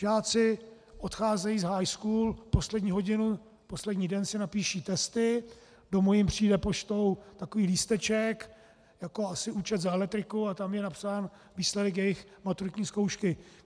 Žáci odcházejí z high school, poslední hodinu, poslední den si napíší testy, domů jim přijde poštou takový lísteček, jako asi účet za elektriku, a tam je napsán výsledek jejich maturitní zkoušky.